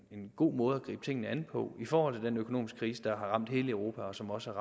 en god måde at gribe tingene an på i forhold til den økonomiske krise der har ramt hele europa og som også